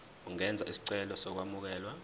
ungenza isicelo sokwamukelwa